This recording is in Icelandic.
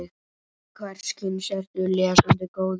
Hvers kyns ertu lesandi góður?